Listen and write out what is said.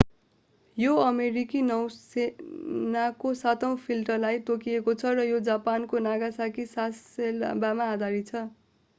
यो अमेरिकी नौसेनाको सातौँ फ्लिटलाई तोकिएको छ र यो जापानको नागासाकी सासेबोमा आधारित छ